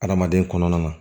Adamaden kɔnɔna na